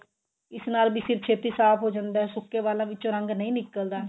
ਇਸ ਨਾਲ ਵੀ ਸਿਰ ਛੇਤੀ ਸਾਫ਼ ਹੋ ਜਾਂਦਾ ਸੁੱਕੇ ਵਾਲਾਂ ਵਿੱਚੋ ਰੰਗ ਨਹੀਂ ਨਿਕਲਦਾ